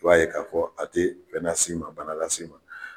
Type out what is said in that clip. I b'a ye k'a fɔ a te fɛn nas'i ma, bana las'i ma.